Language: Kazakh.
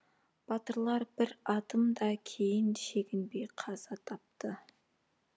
батырлар бір адым да кейін шегінбей қаза тапты